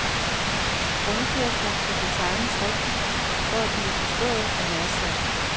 Rundkørsler skal designes rigtigt for at blive forstået og værdsat.